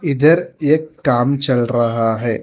इधर एक काम चल रहा है।